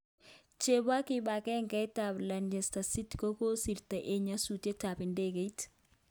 Chepo kipangenget ap Leicester city kokosirto en nyasutiet ap ndegeit.